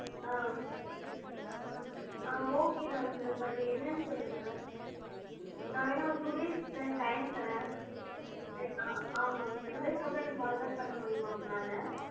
ஆஹ் okay தான் sir but என்னனு சொல்லுங்க. நான் வேணும்னா ஒரு two days time தரேன் ஆமாங்க sir. two days கப்பறம் எனக்கு call back பண்ணமுடியுமா உங்கனால?